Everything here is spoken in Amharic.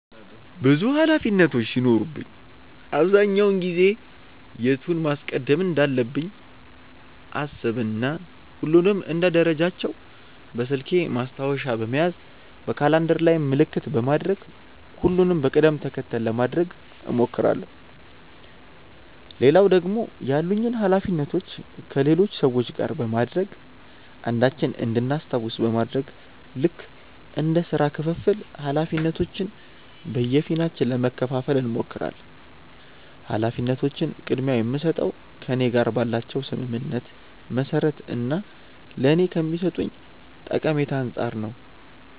ብዙ ኃላፊነቶች ሲኖሩብኝ አብዛኛውን ጊዜ የቱን ማስቀደም እንዳለብኝ አሰብ እና ሁሉንም እንደ ደረጃቸው በስልኬ ማስታወሻ በመያዝ በካላንደር ላይም ምልክት በማድረግ ሁሉንም በቅድም ተከተል ለማድረግ እሞክራለው። ሌላው ደግሞ ያሉኝን ኃላፊነቶች ከሌሎች ሰዎች ጋር በማድረግ አንዳችን እንድናስታውስ በማድረግ ልክ እንደ ስራ ክፍፍል ኃላፊነቶችን በየፊናችን ለመከፈፋል እንሞክራለን። ኃላፊነቶችን ቅድምያ የምስጠው ከእኔ ጋር ባላቸው ስምምነት መሰረት እና ለኔ ከሚሰጡኝ ጠቀሜታ አንፃር ነው።